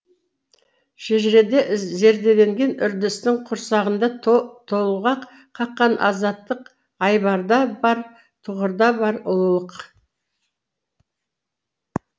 шежіреде зерделенген үрдістің құрсағында толғақ қаққан азаттық айбарда бар тұғырда бар ұлылық